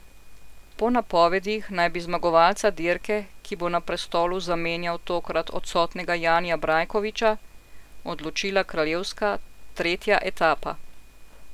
Po napovedih naj bi zmagovalca dirke, ki bo na prestolu zamenjal tokrat odsotnega Janija Brajkoviča, odločila kraljevska, tretja etapa.